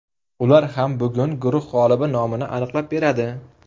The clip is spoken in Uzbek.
Ular ham bugun guruh g‘olibi nomini aniqlab beradi.